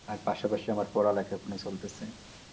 আর পাশাপাশি আমার পড়ালেখা এখনো চলতেছে।